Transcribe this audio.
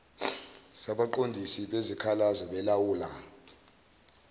sabaqondisi bezikhalazo belawula